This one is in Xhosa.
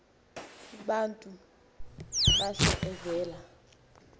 libantu bahle evela